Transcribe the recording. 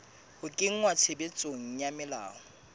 ho kenngwa tshebetsong ha melao